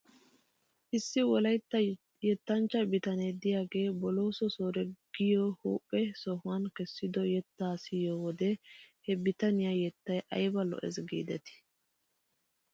Issi wolaytta yettanccha bitane de'iyaagee bolooso soore giyaa huuphe yohuwan kessido yettaa siyoo wodiyan he bitaniyaa yettay ayba lo'es giidetii.